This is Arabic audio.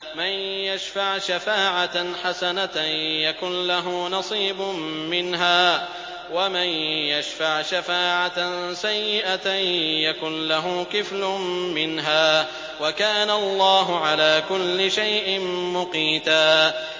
مَّن يَشْفَعْ شَفَاعَةً حَسَنَةً يَكُن لَّهُ نَصِيبٌ مِّنْهَا ۖ وَمَن يَشْفَعْ شَفَاعَةً سَيِّئَةً يَكُن لَّهُ كِفْلٌ مِّنْهَا ۗ وَكَانَ اللَّهُ عَلَىٰ كُلِّ شَيْءٍ مُّقِيتًا